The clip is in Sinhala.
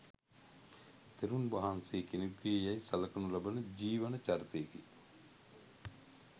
තෙරුන් වහන්සේ කෙනෙකුගේ යැයි සලකනු ලබන ජීවන චරිතයකි.